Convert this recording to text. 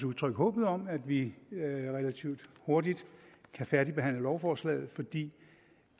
udtrykke håbet om at vi relativt hurtigt kan færdigbehandle lovforslaget fordi